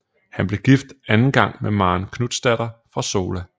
Han blev gift anden gang med Maren Knutsdatter fra Sola